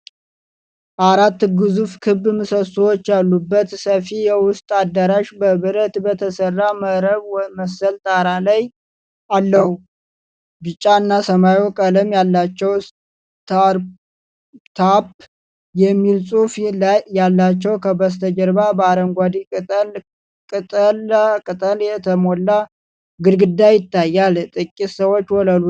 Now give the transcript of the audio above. አራት ግዙፍ ክብ ምሰሶዎች ያሉበት ሰፊ የውስጥ አዳራሽ በብረት በተሰራ መረብ መሰል ጣራ አለው። ቢጫ እና ሰማያዊ ቀለም ያላቸው ስታርታፕ የሚል ጽሑፍ ያላቸው። ከበስተጀርባ በአረንጓዴ ቅጠላ ቅጠል የተሞላ ግድግዳ ይታያል፣ ጥቂት ሰዎችም ወለሉ ላይ ተቀምጠዋል።